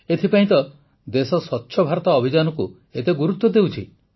ଏଥିପାଇଁ ତ ଦେଶ ସ୍ୱଚ୍ଛ ଭାରତ ଅଭିଯାନକୁ ଏତେ ଗୁରୁତ୍ୱ ଦେଉଛି